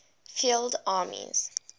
field armies